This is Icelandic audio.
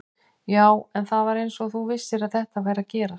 Já, en það var eins og þú vissir að þetta væri að gerast